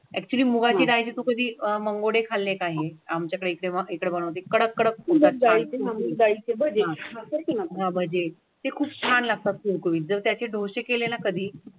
Actually मुगाच्या डाळीची कधी अं मंगडे खाल्ले आहे. आमच्याकडे बनवते कडक कडक ते खूप छान लागतात होईल. जर त्याचे डोसे केलेला कधी.